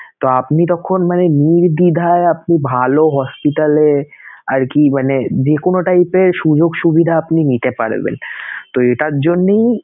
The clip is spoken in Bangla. তো আপনি তখন মানে নির্দ্বিধায় আপনি ভালো hospital এ আরকি মানে যে কোন type এর সুযোগ সুবিধা আপনি নিতে পারবেনতো এটার জন্যেই